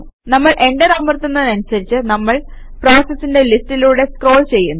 നമ്മൾ എന്റർ അമർത്തുന്നതനുസരിച്ച് നമ്മള് പ്രോസസസിന്റെ ലിസ്റ്റിലൂടെ സ്ക്രോൾ ചെയ്യുന്നു